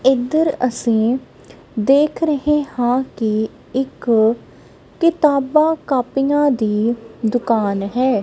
ਇਧਰ ਅਸੀਂ ਦੇਖ ਰਹੇ ਹਾਂ ਕਿ ਇੱਕ ਕਿਤਾਬਾਂ ਕਾਪੀਆਂ ਦੀ ਦੁਕਾਨ ਹੈ।